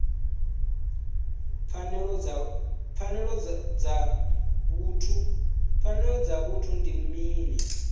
pfanelo dza vhuthu ndi mini